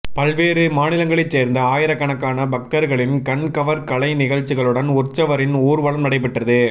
பல்வேறு மாநிலங்களைச் சேர்ந்த ஆயிரக்கணக்கான பக்தர்களின் கண்கவர் கலை நிகழ்ச்சிகளுடன் உற்சவரின் ஊர்வலம் நடைபெற்றது